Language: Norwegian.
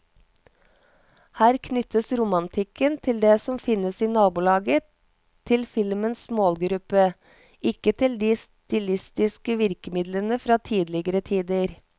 Her knyttes romantikken til det som er å finne i nabolaget til filmens målgruppe, ikke til de stilistiske virkemidlene fra tidligere tider.